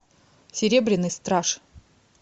серебряный страж